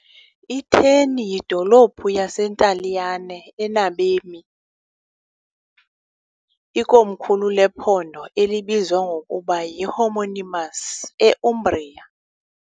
I-Terni yidolophu yaseNtaliyane enabemi , ikomkhulu lephondo elibizwa ngokuba yi-homonymous e- Umbria .